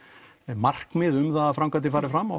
markmið um að framkvæmdir fari fram